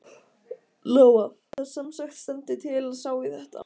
Lóa: Það semsagt stendur til að sá í þetta?